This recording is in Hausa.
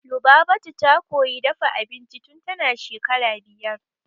Lubabatu ta koyi dafa abinci tun tana shekara biyar.